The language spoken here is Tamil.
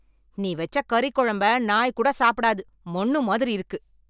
நீ வெச்ச கறிக்கொழம்ப நாய் கூட சாப்பிடாது. மண்ணு மாதிரி இருக்கு.